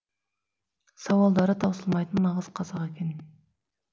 сауалдары таусылмайтын нағыз қазақ екен